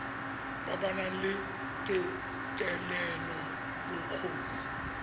ba ba nang le thetelelobokgoni